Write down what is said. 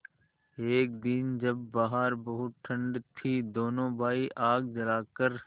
एक दिन जब बाहर बहुत ठंड थी दोनों भाई आग जलाकर